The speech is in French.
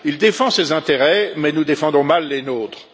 Il défend ses intérêts, mais nous défendons mal les nôtres.